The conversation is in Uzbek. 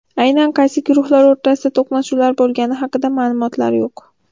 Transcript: Aynan qaysi guruhlar o‘rtasida to‘qnashuvlar bo‘lgani haqida ma’lumotlar yo‘q.